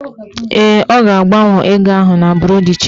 Ee, ọ ga-agbanwe ego ahụ na buru chenji